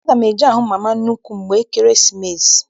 Aga m eje hụ mama nnukwu mgbe Ekeresimesi.